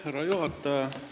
Härra juhataja!